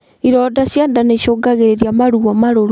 Ironda cia ndaa niicungagirirĩa maruo marũrũ